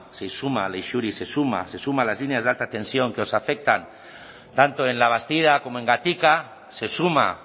se suma leixuri se suma a las líneas de alta tensión que os afectan tanto en labastida como en gatika se suma